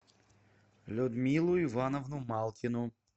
людмилу ивановну малкину